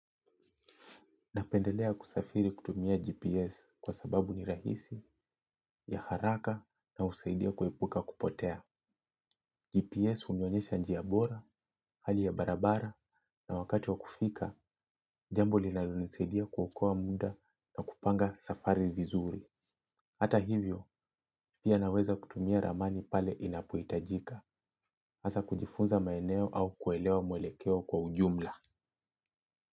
Napendelea kusafiri kutumia GPS kwa sababu ni rahisi, ya haraka na usaidia kuepuka kupotea. GPS hunionyesha njia bora, hali ya barabara na wakati wa kufika, jambo linalonisaidia kuokoa muda na kupanga safari vizuri. Hata hivyo, pia naweza kutumia ramani pale inapoitajika, hasa kujifunza maeneo au kuelewa mwelekeo kwa ujumla.